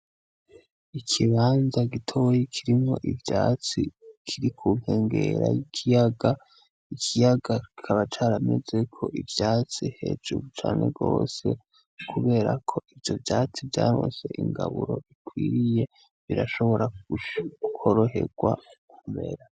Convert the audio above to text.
Ikibanza gitoye kirimwo ivyatsi kiri kunkengera ikiyaga ikiyaga kikaba caramezeko ivyatsi hejuru cane rwose, kubera ko ivyo vyatsi vyarose ingaburo ikwiriye birashobora koroherwa kukumera.